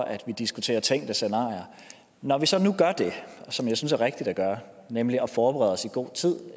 at vi diskuterer tænkte scenarier når vi så nu gør det som jeg synes er rigtigt at gøre nemlig at forberede os i god tid